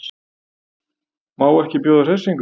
Má ekki bjóða hressingu?